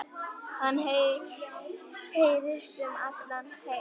Hann heyrist um allan heim.